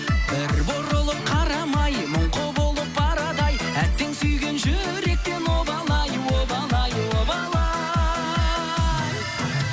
бір бұрылып қарамай мұңқы болып барады ай әттең сүйген жүректен обал ай обал ай обал ай